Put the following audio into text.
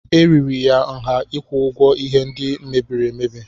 Eriri ya nha ịkwụ ụgwọ ihe ndị mebiri emebi.